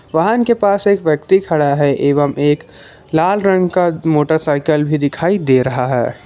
वाहन के पास एक व्यक्ति खड़ा है एवं एक लाल रंग का मोटरसाइकिल भी दिखाई दे रहा है।